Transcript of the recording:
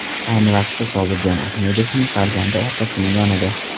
Ayni vaqtda Sobirjon Ahmedovning farzandi otasining yonida.